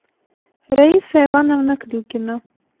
раиса ивановна клюкина